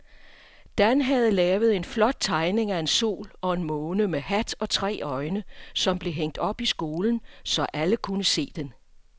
Dan havde lavet en flot tegning af en sol og en måne med hat og tre øjne, som blev hængt op i skolen, så alle kunne se den.